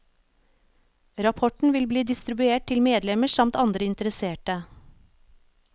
Rapporten vil bli distribuert til medlemmer samt andre interesserte.